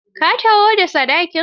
Ka taho da sadakin.